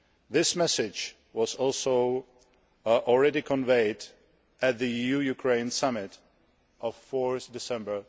This message was also already conveyed at the EU Ukraine Summit of 4 December